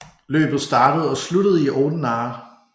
Løbet startede og sluttede i Oudenaarde